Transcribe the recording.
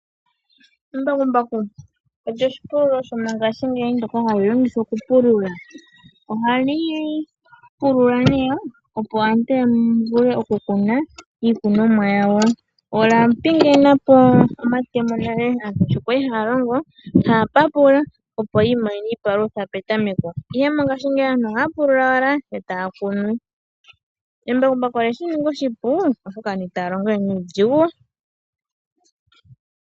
Embakumbaku olyo oshipululo shomongaashingeyi ndyoka hali longithwa okupulula. Ohali pulula, opo aantu ya vule okukuna iikunomwa yawo, olya pingena po monale sho aantu ya li haa longo haa papula opo yi imonene iipalutha petameko, ihe mongaashingeyi aantu ohaa pulula owala etaa kunu. Embakumbaku olye shi ninga oshipu, oshoka aantu itaya longo we nuudhigu.